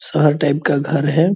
शहर टाइप का घर है।